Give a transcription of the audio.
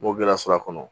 N'o gɛlɛya sɔrɔ a kɔnɔ